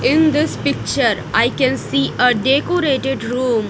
In this picture I can see a decorated room.